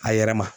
A yɛrɛ ma